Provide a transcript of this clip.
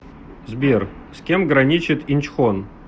сбер с кем граничит инчхон